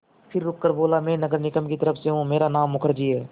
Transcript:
फिर रुककर बोला मैं नगर निगम की तरफ़ से हूँ मेरा नाम मुखर्जी है